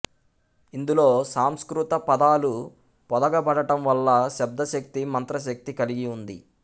ఇందులో సంస్కృత పదాలు పొదగబడటంవల్ల శబ్దశక్తి మంత్రశక్తి కలిగి ఉంది